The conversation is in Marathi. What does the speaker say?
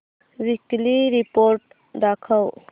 वीकली रिपोर्ट दाखव